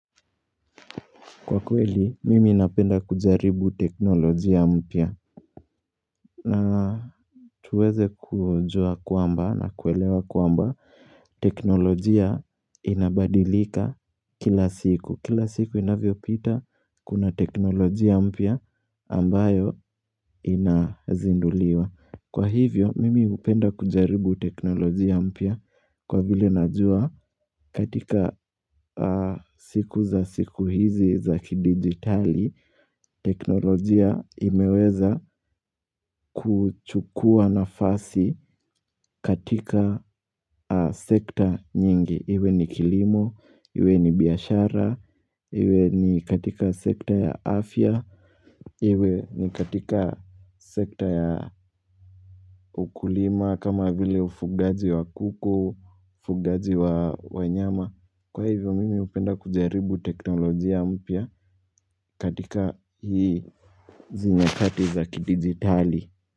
Kwa kweli, mimi inapenda kujaribu teknolojia mpia na tuweze kujua kwamba na kuelewa kwamba teknolojia inabadilika kila siku. Kila siku inavyo pita kuna teknolojia mpia ambayo inazinduliwa. Kwa hivyo, mimi hupenda kujaribu teknolojia mpia kwa vile najua katika siku za siku hizi za kidigitali, teknolojia imeweza kuchukua nafasi katika sekta nyingi. Iwe ni kilimo, iwe ni biashara, iwe ni katika sekta ya afya, iwe ni katika sekta ya ukulima kama vile ufugaji wa kuku, ufugaji wa wanyama. Kwa hivyo mimi upenda kujaribu teknolojia mpya katika hii izi nyakati za kidigitali.